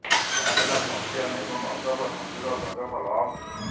ଏହା ହେଲା ଚମ୍ପିଆନ୍ ଏବଂ ଅଜବ ସଂଜୁର ଗଜବ ଲଭ୍